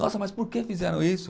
Nossa, mas por que fizeram isso?